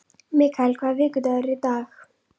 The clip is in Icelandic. Mikael, hvaða vikudagur er í dag?